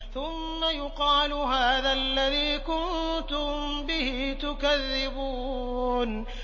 ثُمَّ يُقَالُ هَٰذَا الَّذِي كُنتُم بِهِ تُكَذِّبُونَ